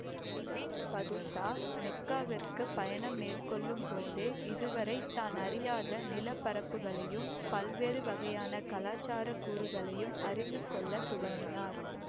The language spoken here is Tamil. இபின் பதூதா மெக்காவிற்குப் பயணம் மேற்கொள்ளும்போதே இதுவரை தான் அறியாத நிலப்பரப்புகளையும் பல்வேறு வகையான கலாச்சார கூறுகளையும் அறிந்துகொள்ளத் துவங்கினார்